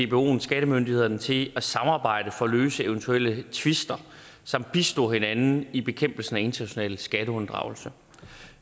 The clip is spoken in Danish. dboen skattemyndighederne til at samarbejde for at løse eventuelle tvister samt bistå hinanden i bekæmpelsen af international skatteunddragelse